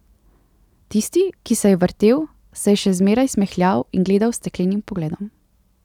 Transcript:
Tisti, ki se je vrtel, se je še zmeraj smehljal in gledal s steklenim pogledom.